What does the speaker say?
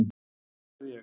Hver verð ég?